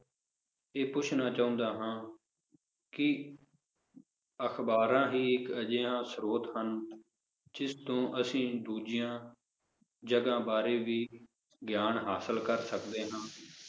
ਇਹ ਪੁੱਛਣਾ ਚਾਹੁੰਦਾ ਹਾਂ ਕਿ ਅਖਬਾਰਾਂ ਹੀ ਇਕ ਅਜਿਹਾ ਸਰੋਤ ਹਨ ਜਿਸ ਤੋਂ ਅਸੀਂ ਦੂਜੀਆਂ ਜਗਾਹ ਬਾਰੇ ਵੀ ਗਿਆਨ ਹਾਸਿਲ ਕਰ ਸਕਦੇ ਹਾਂ?